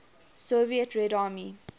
soviet red army